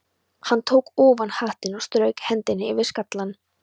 Hann tók ofan hattinn og strauk hendinni yfir skallann.